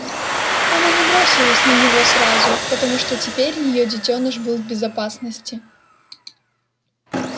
она не бросилась на него сразу потому что теперь её детёныш был в безопасности